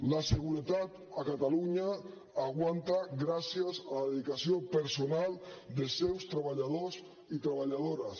la seguretat a catalunya aguanta gràcies a la dedicació personal dels seus treballadors i treballadores